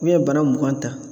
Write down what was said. Ni ye bana mugan ta